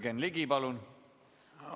Jürgen Ligi, palun!